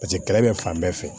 Paseke kɛlɛ bɛ fan bɛɛ fɛ